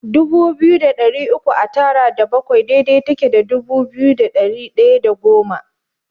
Dubu biyu da ɗari uku a tara da bakwai daidai take da dubu biyu da ɗari ɗaya da goma.